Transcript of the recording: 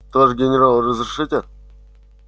товарищ генерал разрешите